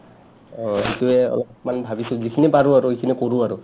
অ সিটোয়ে অলপমান ভাবিছো যিখিনি পাৰো আৰু সিখিনি কৰি আৰু